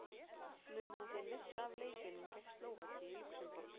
Mun hann því missa af leikjunum gegn Slóvakíu og Lúxemborg.